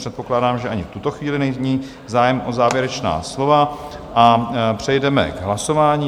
Předpokládám, že ani v tuto chvíli není zájem o závěrečná slova, a přejdeme k hlasování.